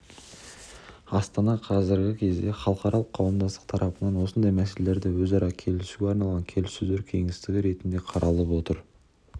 астана қазіргі кезде халықаралық қауымдастық тарапынан осындай мәселелерді өзара келісуге арналған келіссөздер кеңістігі ретінде қаралып отыр